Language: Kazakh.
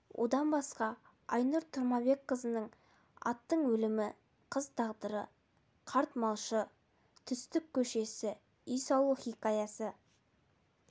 одан басқа айнұр тұмарбекқызының аттың өлімі қыз тағдыры қарт малшы хыпиңли түстік көшесі үй салу хикаясы